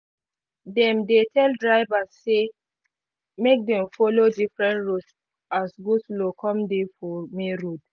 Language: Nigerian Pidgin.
dem dey tell drivers say make them follow different roads as go-slow come dey for main road